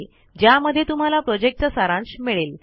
ज्यामध्ये तुम्हाला प्रॉजेक्टचा सारांश मिळेल